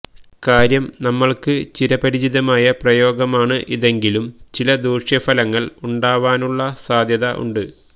കാര്യം നമ്മൾക്ക് ചിരപരിചിതമായ പ്രയോഗമാണ് ഇതെങ്കിലും ചില ദൂഷ്യഫലങ്ങൾ ഉണ്ടാവാനുള്ള സാധ്യത ഉണ്ട്